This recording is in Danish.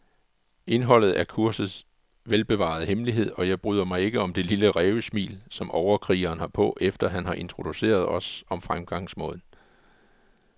Indholdet er kursets velbevarede hemmelighed, og jeg bryder mig ikke om det lille rævesmil, som overkrigeren har på, efter han har introduceret os om fremgangsmåden.